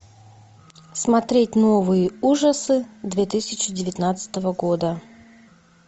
смотреть новые ужасы две тысячи девятнадцатого года